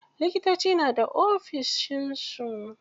Likitoci na da ofishin su.